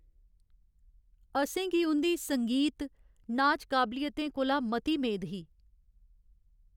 असें गी उं'दी संगीत, नाच काबलियतें कोला मती मेद ही।